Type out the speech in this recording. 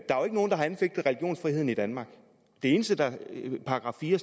nogen der har anfægtet religionsfriheden i danmark det eneste der står i § fire